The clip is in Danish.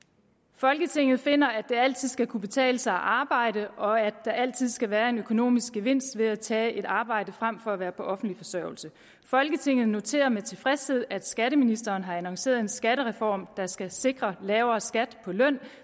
folketinget finder at det altid skal kunne betale sig at arbejde og at der altid skal være en økonomisk gevinst ved at tage et arbejde frem for at være på offentlig forsørgelse folketinget noterer med tilfredshed at skatteministeren har annonceret en skattereform der skal sikre lavere skat på løn